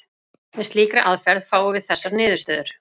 Með slíkri aðferð fáum við þessar niðurstöður: